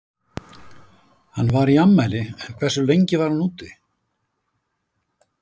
Hann var í afmæli en hversu lengi var hann úti?